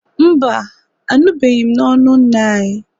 Mba, anụbeghị m n'ọnụ nna anyị